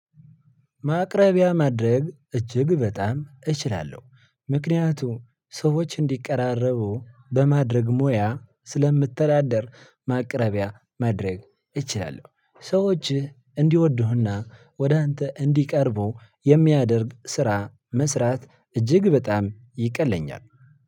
ማቅረቢያ ማድረግ እጅግ በጣም እችላለሁ። ምክንያቱም ሰዎች እንዲቀራረቡ በማድረግ ሙያ ስለምትተዳደር ማቅረቢያ ማድረግ እችላለሁ። ሰዎችህ እንዲወዱህና ወደ አንተ እንዲቀርቡ የሚያደርግ ስራ መስራት እጅግ በጣም ይቀለኛል።